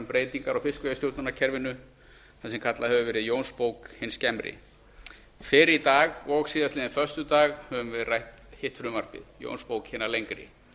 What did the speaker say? breytingar á fiskveiðistjórnarkerfinu það sem kallað hefur verið jónsbók hin skemmri fyrr í dag og á föstudaginn höfum við rætt hitt frumvarpi jónsbók hina lengri